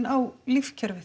á lífkerfið